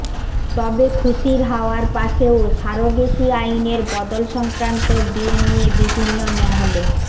তবে খুশির হাওয়ার পাশেও সারোগেসি আইনের বদল সংক্রান্ত বিল নিয়ে বিভিন্ন মহলে